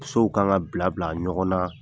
Sow kan ka bila bila ɲɔgɔn na